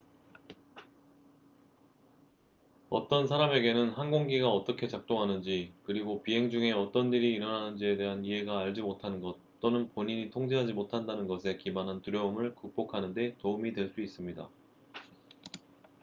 어떤 사람에게는 항공기가 어떻게 작동하는지 그리고 비행 중에 어떤 일이 일어나는지에 대한 이해가 알지 못하는 것 또는 본인이 통제하지 못한다는 것에 기반한 두려움을 극복하는 데 도움이 될 수 있습니다